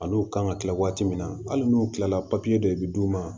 A n'u kan ka kila waati min na hali n'u kilala dɔ i bɛ d'u ma